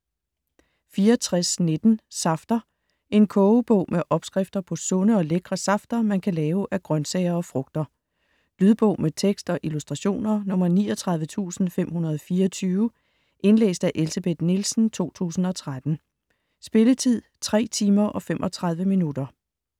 64.19 Safter En kogebog med opskrifter på sunde og lækre safter, man kan lave af grøntsager og frugter. Lydbog med tekst og illustrationer 39524 Indlæst af Elsebeth Nielsen, 2013. Spilletid: 3 timer, 35 minutter.